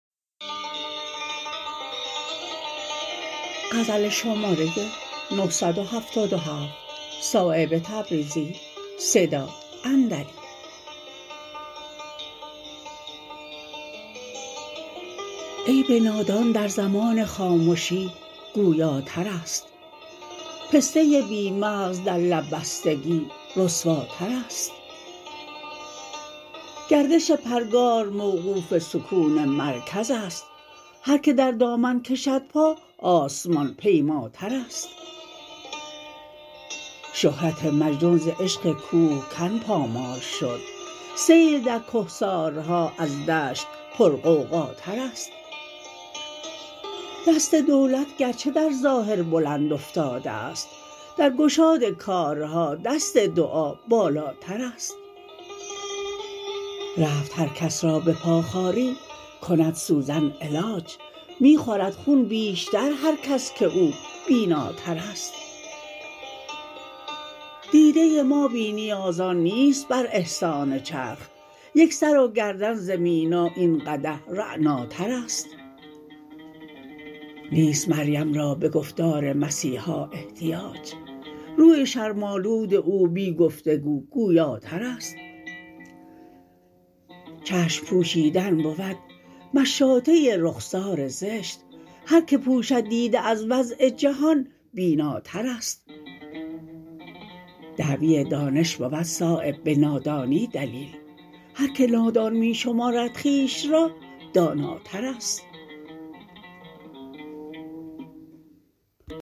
عیب نادان در زمان خامشی گویاترست پسته بی مغز در لب بستگی رسواترست گردش پرگار موقوف سکون مرکزست هر که در دامن کشد پا آسمان پیماترست شهرت مجنون ز عشق کوهکن پامال شد سیل در کهسارها از دشت پرغوغاترست دست دولت گرچه در ظاهر بلند افتاده است در گشاد کارها دست دعا بالاترست رفت هر کس را به پا خاری کند سوزن علاج می خورد خون بیشتر هر کس که او بیناترست دیده ما بی نیازان نیست بر احسان چرخ یک سر و گردن ز مینا این قدح رعناترست نیست مریم را به گفتار مسیحا احتیاج روی شرم آلود او بی گفتگو گویاترست چشم پوشیدن بود مشاطه رخسار زشت هر که پوشد دیده از وضع جهان بیناترست دعوی دانش بود صایب به نادانی دلیل هر که نادان می شمارد خویش را داناترست